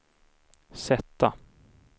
sätta